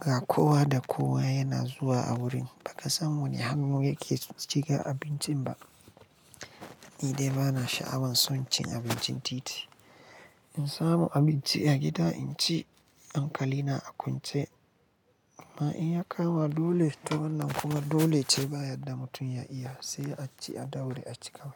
ga kowa da kowa yana zuwa a wurin, ba ka san wani hannu yake cikin abincin ba. Ni dai bana sha'awan son cin abincin titi. In samu abinci a gida in ci, hankali na a kwance. Amma in ya kama dole to wannan kuma dole ce ba yanda mutum ya iya, sai a ci a daure a ci kawai.